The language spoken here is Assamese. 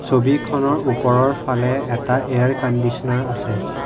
ছবিখনৰ ওপৰৰ ফালে এটা এয়াৰ কন্দিছনাৰ আছে।